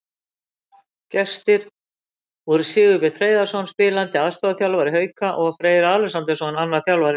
Gestir voru Sigurbjörn Hreiðarsson, spilandi aðstoðarþjálfari Hauka, og Freyr Alexandersson, annar þjálfara Leiknis.